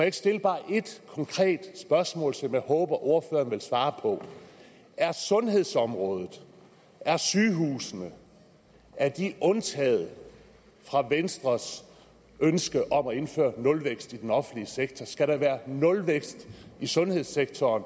ikke stille bare ét konkret spørgsmål som jeg håber at ordføreren vil svare på er sundhedsområdet er sygehusene undtaget fra venstres ønske om at indføre en nulvækst i den offentlige sektor skal der være nulvækst i sundhedssektoren